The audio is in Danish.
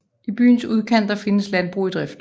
I byens udkanter findes landbrug i drift